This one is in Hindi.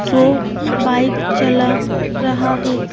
वो बाइक चला रहा है।